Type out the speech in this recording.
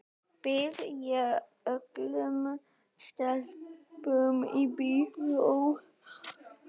Býð ég ekki öllum stelpum í bíó?